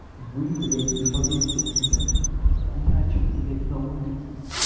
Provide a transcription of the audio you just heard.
вы блядь не поверите у меня трактор хуячит блядь на улице